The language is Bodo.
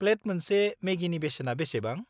प्लेट मोनसे मेगिनि बेसेना बेसेबां?